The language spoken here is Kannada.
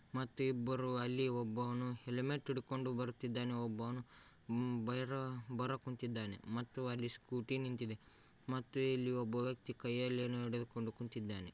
ಮತ್ತು ಇಬ್ಬರು ಅಲ್ಲಿ ಒಬ್ಬನು ಹೆಲ್ಮಟ ಇಡಕೊಂಡು ಬರ್ತಾಇದಾನೆ. ಒಬ್ಬನು ಉಮ್ ಬರ-ಬರಕುತ್ತಿದಾನೆ ಮತ್ತು ಅಲ್ಲಿ ಸ್ಕೂಟಿ ನಿಂತಿದೆ ಮತ್ತುಇಲ್ಲಿ ಒಬ್ಬ ವ್ಯೆಕ್ತಿ ಕೈಯಲ್ಲಿಏನೋ ಹಿಡಿದುಕೊಂಡು ಕೂತಿದ್ದಾನೆ.